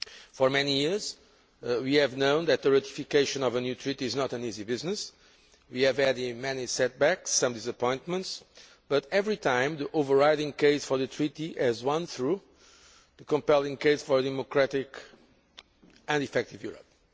For many years, we have known that the ratification of a new Treaty is not an easy business. We have had many setbacks and some disappointments, but every time the overriding case for the Treaty has won through the compelling case for a democratic and effective Europe.